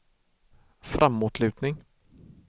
framåtlutning